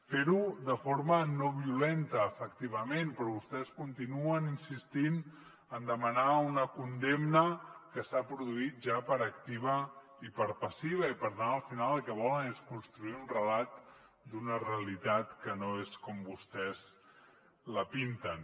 fer ho de forma no violenta efectivament però vostès continuen insistint en demanar una condemna que s’ha produït ja per activa i per passiva i per tant al final el que volen és construir un relat d’una realitat que no és com vostès la pinten